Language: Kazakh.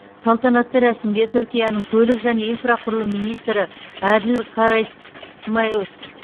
салтанатты рәсімге түркияның көлік және инфрақұрылым министрі әділ карасмайлс